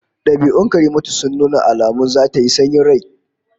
Dabi'un Karimatu sun nuna alamun zata yi sanyin rai